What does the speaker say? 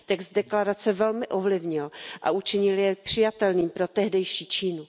Text deklarace velmi ovlivnil a učinil jej přijatelným pro tehdejší Čínu.